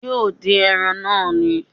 Yóò dín ẹran náà ni